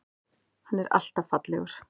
Hann er alltaf fallegur.